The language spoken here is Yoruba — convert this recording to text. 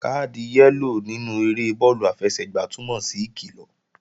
Káàdì yẹ́lò nínú eré bọ́ọ̀lù àfẹsẹ̀gbá túnmọ̀ sí ìkilọ̀